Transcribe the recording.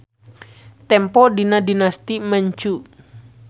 Tempo dina Dinasti Manchu.